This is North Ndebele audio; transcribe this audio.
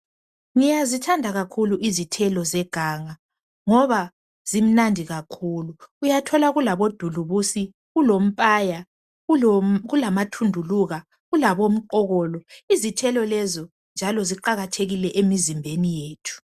Ngiyazithanda kakhulu izithelo zeganga ngoba zimnandi kakhulu. Uyathola kulabodulubusi, kulompaya ,kulamathunduluka, kulabomqokolo. Izithelo lezo njalo ziqakathekile emizimbeni yethu.